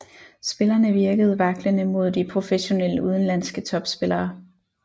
Spillerne virkede vaklende mod de professionelle udenlandske topspillere